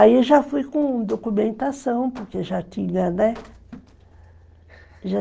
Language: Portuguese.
Aí já fui com documentação, porque já tinha, né? Já